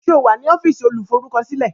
Ṣé o wà ní ọ́fíìsì olùforúkọsílẹ̀?